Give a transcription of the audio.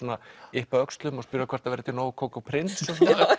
yppa öxlum og spyrja hvort það verði til nóg kók og prins